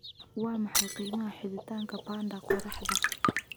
waa maxay qiimaha xidhitaanka panda qoraxda